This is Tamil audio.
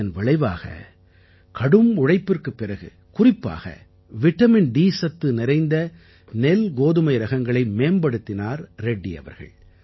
இதன் விளைவாக கடும் உழைப்பிற்குப் பிறகு குறிப்பாக விட்டமின் டி சத்து நிறைந்த நெல்கோதுமை ரகங்களை மேம்படுத்தினார் ரெட்டி அவர்கள்